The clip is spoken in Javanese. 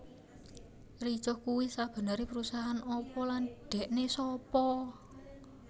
Ricoh kuwi sebenere perusahaan apa lan dhekne sapa